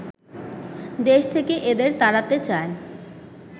দেশ থেকে এদের তাড়াতে চায়